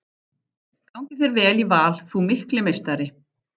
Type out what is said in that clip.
Gangi þér vel í Val þú mikli meistari!